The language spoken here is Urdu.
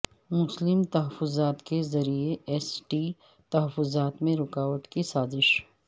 مسلم تحفظات کے ذریعہ ایس ٹی تحفظات میں رکاوٹ کی سازش